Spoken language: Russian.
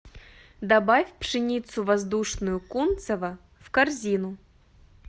добавь пшеницу воздушную кунцево в корзину